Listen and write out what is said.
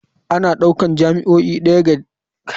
Ana ɗaukar jami'o'i ɗaya daga cikin manyan karatun manyan makarantu.